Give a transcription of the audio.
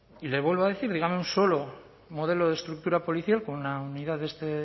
y le vuelvo a decir dígame un solo modelo de estructura policial con una unidad de este